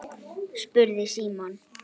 spurði Símon.